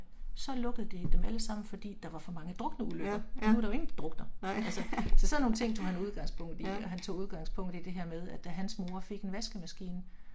Så lukkede de dem alle sammen, fordi der var for mange drukneulykker nu er der jo ingen der drukner, altså. Så sådan nogle ting tog han udgangspunkt i og han tog udgangspunkt i det her med at da hans mor fik en vaskemaskine